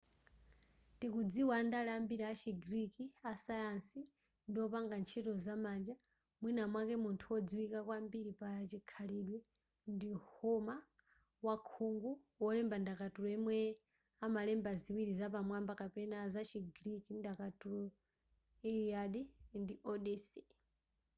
tikudziwa andale ambiri achi greek asayansi ndi wopanga ntchito za manja mwina mwake munthu wodziwika kwambiri pachikhalidwe ndi homer wakhungu wolemba ndakatulo yemwe analemba ziwiri zapamwamba kwambiri zachi greek ndakatulo iliad ndi odyssey